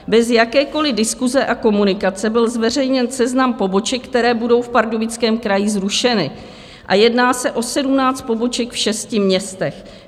Bez jakékoli diskuse a komunikace byl zveřejněn seznam poboček, které budou v Pardubickém kraji zrušeny, a jedná se o 17 poboček v šesti městech.